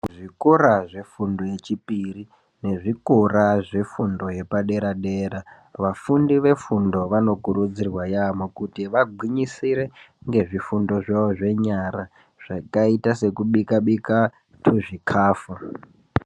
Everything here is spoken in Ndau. Zvikora zvefundo yechipiri nezvikora zvefundo yepaderadera vafundi vefundo vanokurudzirwa yamho kuti vagwinyisire ngezvifundo zvawo zvenyara zvakaita sekubikabika tuzvikafu.